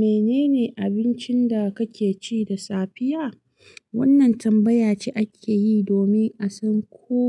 "Menene abincin da kake ci da safiya?" wannan tambaya ce ake yi domin a san ko